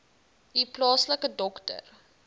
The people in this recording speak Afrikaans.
u plaaslike dokter